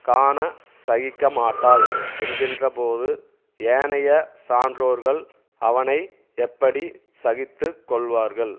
காணச்சகிக்கமாட்டாள் என்கிற போது ஏனைய சான்றோர்கள் அவனை எப்படி சகித்து கொள்வார்கள்